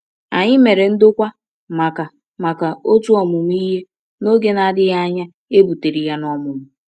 Anyị mere ndokwa maka maka otu ọmụmụ ihe, n’oge na-adịghị anya e butere ya n’ọmụmụ.